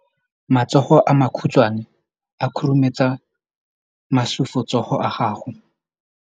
Matsogo a makhutshwane a khurumetsa masufutsogo a gago.